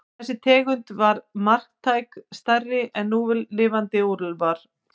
Þessi tegund var marktækt stærri en núlifandi úlfar.